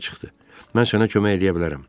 Mən sənə kömək eləyə bilərəm.